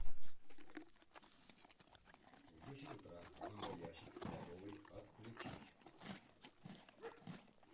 в десять утра зомбоящик в кладовой отключить